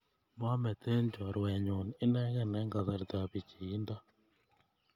Maameten chorwennyu inekey eng' kasartap pichiindo